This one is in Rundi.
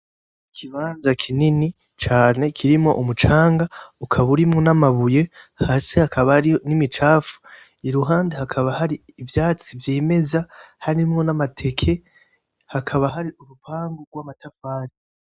Ikibanza kinini cane kirimwo umucanga; ukaba urimwo n'amabuye hasi hakaba hari n'imicafu; iruhande hakaba hari ivyatsi vyimeza; harimwo n'amateke, hakaba hari n'urupangu rw'amatafari.